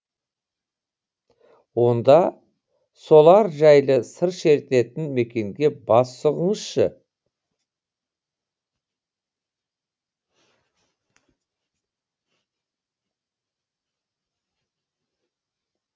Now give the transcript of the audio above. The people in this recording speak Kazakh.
онда солар жайлы сыр шертетін мекенге бас сұғыңызшы